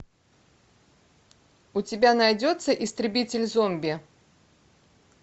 у тебя найдется истребитель зомби